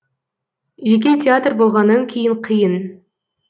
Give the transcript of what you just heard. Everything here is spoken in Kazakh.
жеке театр болғаннан кейін қиын